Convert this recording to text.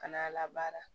Kana labaara